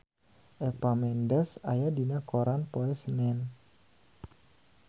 Eva Mendes aya dina koran poe Senen